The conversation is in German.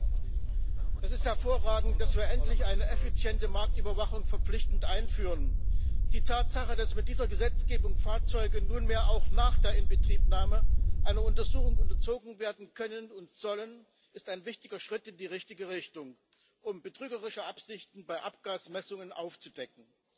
Herr Präsident! Es ist hervorragend, dass wir endlich eine effiziente Marktüberwachung verpflichtend einführen. Die Tatsache, dass mit dieser Gesetzgebung Fahrzeuge nunmehr auch nach der Inbetriebnahme einer Untersuchung unterzogen werden können und sollen, ist ein wichtiger Schritt in die richtige Richtung, um betrügerische Absichten bei Abgasmessungen aufzudecken.